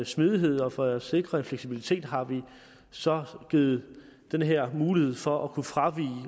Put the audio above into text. smidighed og for at sikre en fleksibilitet har vi så givet den her mulighed for at kunne fravige